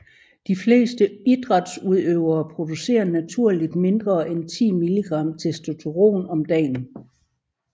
De fleste idrætsudøvere producerer naturligt mindre end 10 milligram testosteron om dagen